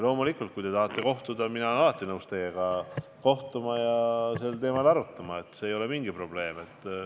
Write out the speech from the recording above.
Loomulikult, kui te tahate kohtuda, siis mina olen alati nõus teiega kohtuma ja sel teemal arutama, see ei ole mingi probleem.